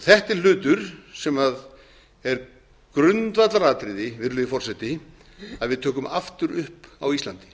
þetta er hlutur sem er grundvallaratriði virðulegi forseti að við tökum aftur upp á íslandi